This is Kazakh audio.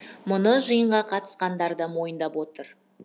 мұны жиынға қатысқандар да мойындап отыр